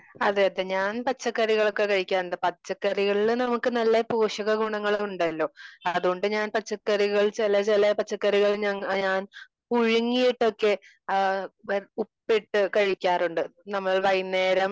അതേ അതേ ഞാൻ പച്ചക്കറികളൊക്കെ കഴിക്കാറുണ്ട്. പച്ചക്കറികളില് നമുക്ക് നല്ല പോഷക ഗുണങ്ങളും ഉണ്ടല്ലോ? അത്കൊണ്ട് ഞാൻ പച്ചക്കറികൾ ചില ചില പച്ചക്കറികൾ ഞാൻ പുഴുങ്ങിയിട്ടോക്കെ ഉപ്പിട്ട് കഴിക്കാറുണ്ട്.വൈകുന്നേരം